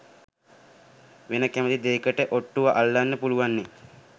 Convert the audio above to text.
වෙන කැමති දේකට ඔට්ටුව අල්ලන්න පුළුවන්නේ.